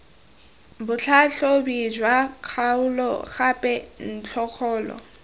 botlhatlhobi jwa kgaolo gape ntlokgolo